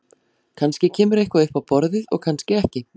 Kannski kemur eitthvað upp á borðið og kannski ekki.